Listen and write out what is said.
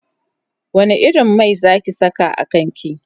wani irin Mai Zaki sa a kanki?